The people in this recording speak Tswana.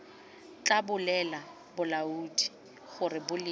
tla bolelela balaodi gore boleng